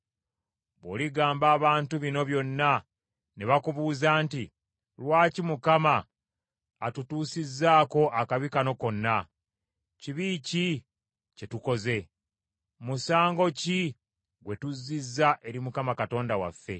“Bw’oligamba abantu bino byonna ne bakubuuza nti, ‘Lwaki Mukama atutuusizaako akabi kano konna? Kibi ki kye tukoze? Musango ki gwe tuzizza eri Mukama Katonda waffe?’